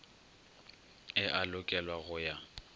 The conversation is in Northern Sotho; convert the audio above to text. e a lokelwa go ya